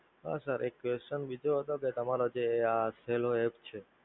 હા Sir એક Sir બીજું હતું કે તમારો જે આ સેલો App છે,